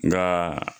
Nka